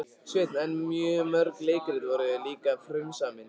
Sveinn en mörg leikrit voru líka frumsamin.